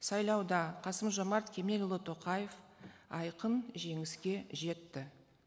сайлауда қасым жомарт кемелұлы тоқаев айқын жеңіске жетті